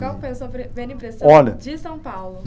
Qual foi a sua primeira impressão. Olha. de São Paulo?